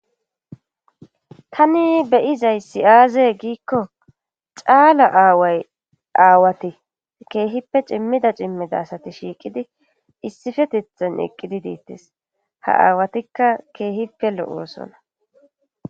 Tani beyizay si7aaze giikko caala aaway aawati keehippe cimmida cimmida asati shiiqidi issifetethen eqqidi diittes ha aawatikka keehippe lo7oosona